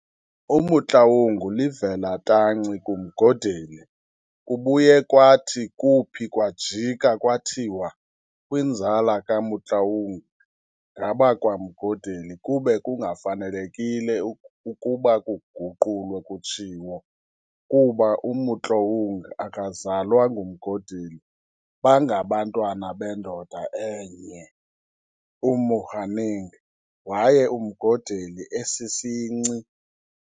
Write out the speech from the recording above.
UMotlaong livela tanci kuMgodeli. kubuye kwathi kuuphi kwajikwa kwathiwa kwinzala kaMotloang, ngabakwaMgodeli. Kube kungafanelekile ukuba kuguqulwe kutshiwo, kuba uMotloang akazalwa nguMgodeli, bangabantwana bendoda enye uMohaneng, waye uMgodeli esisinci.